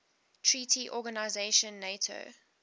treaty organization nato